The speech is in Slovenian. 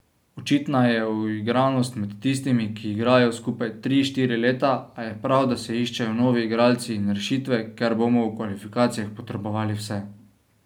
Očitna je uigranost med tistimi, ki igrajo skupaj tri, štiri leta, a je prav, da se iščejo novi igralci in rešitve, ker bomo v kvalifikacijah potrebovali vse.